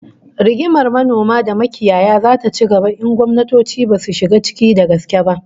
Rigimar manoma da makiyaya zata ci gaba in gwamnatoci basu shiga ciki da gaske ba